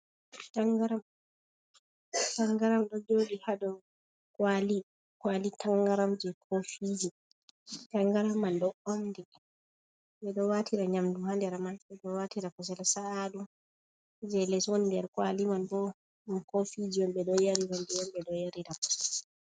Tangaram, tangaram ɗon joɗi ha dou kwali, kwali tanga ramji kofiji, tangaram man ɗo omɗi ɓeɗo watira nyamdu ha nder man, ɓeɗo watira kusel sa’aɗum je les woni nder kwali man bo ɗum kofiji on ɓe ɗo yarira ndiyam ɓe ɗo yarira jus.